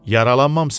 Yaralanmamısan?